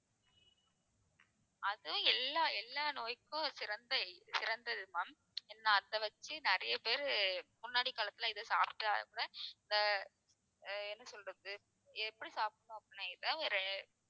அதுவும் எல்லா எல்லா நோய்க்கும் சிறந்த~ சிறந்தது ma'am ஏன்னா அதை வெச்சி நிறைய பேரு முன்னாடி காலத்துல இதை சாப்பிடாம இந்த அஹ் என்ன சொல்றது எப்படி சாப்பிடணும் அப்படின்னா இதை ஒரு